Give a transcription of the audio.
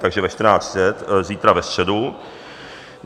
Takže ve 14.30, zítra, ve středu.